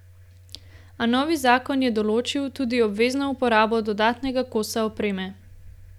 A novi zakon je določil tudi obvezno uporabo dodatnega kosa opreme.